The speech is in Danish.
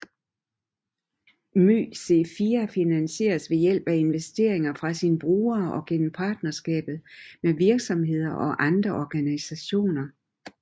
MyC4 finansieres ved hjælp af investeringer fra sine brugere og gennem partnerskaber med virksomheder og andre organisationer